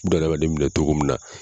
Bunadamaden minɛ cogo min na.